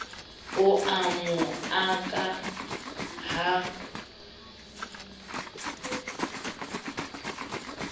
o a mo aka ha